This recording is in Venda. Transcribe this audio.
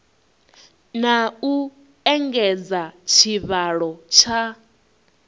na u engedza tshivhalo tsha